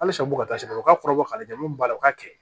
Hali sa u bɛ ka taa se o ka kɔrɔbɔ ka lajɛ mun b'a la u k'a kɛ